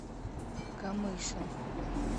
камышин